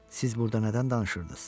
Siz burda nədən danışırdınız?